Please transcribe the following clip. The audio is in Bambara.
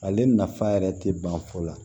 Ale nafa yɛrɛ tɛ ban fɔlɔ